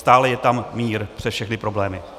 Stále je tam mír, přes všechny problémy.